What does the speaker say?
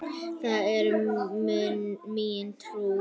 Það er mín trú.